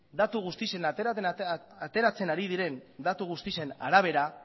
ateratzen ari diren datu guztien arabera